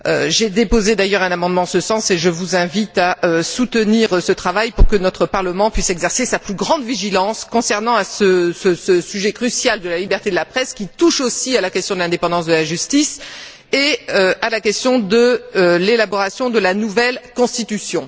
J'ai déposé un amendement en ce sens et je vous invite à soutenir ce travail pour que notre Parlement puisse exercer sa plus grande vigilance concernant ce sujet crucial de la liberté de la presse, qui touche aussi à la question de l'indépendance de la justice et à la question de l'élaboration de la nouvelle constitution.